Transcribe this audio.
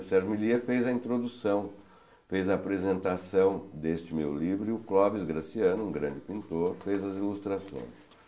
O Sérgio millietr fez a introdução, fez a apresentação deste meu livro e o Clóvis Graciano, um grande pintor, fez as ilustrações.